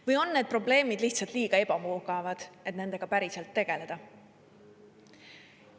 Või on need probleemid lihtsalt liiga ebamugavad, et nendega päriselt tegeleda?